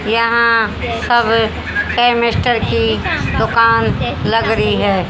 यहां सब कैमेस्टर की दुकान लग रही है।